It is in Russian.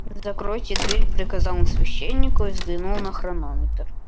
закройте дверь приказал он священнику и взглянул на хронометр